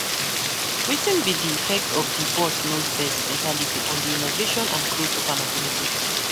Wetin be di effect of di 'boss knows best' mentality on di innovation and growth of an organizartion?